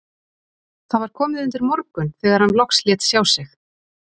Það var komið undir morgun þegar hann loks lét sjá sig.